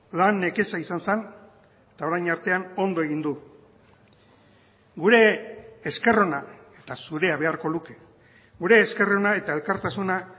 lan nekeza izan zen eta orain artean ondo egin du gure esker ona eta zurea beharko luke gure esker ona eta elkartasuna